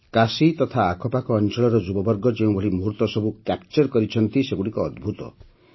କାଶୀ ତଥା ଆଖପାଖ ଅଞ୍ଚଳର ଯୁବବର୍ଗ ଯେଉଁଭଳି ମୁହୂର୍ତ୍ତ ସବୁ କ୍ୟାପଚର କରିଛନ୍ତି ସେଗୁଡ଼ିକ ଅଦ୍ଭୁତ